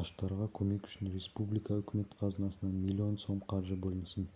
аштарға көмек үшін республика үкімет қазынасынан миллион сом қаржы бөлінсін